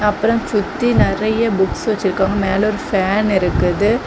அப்புறம் சுத்தி நறைய புக்ஸ் வச்சிருக்கிறாங்க மேலே ஒரு ஃபேன் இருக்குது.